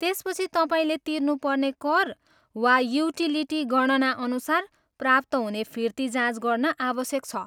त्यसपछि तपाईँले तिर्नुपर्ने कर वा युटिलिटी गणनाअनुसार प्राप्त हुने फिर्ती जाँच गर्न आवश्यक छ।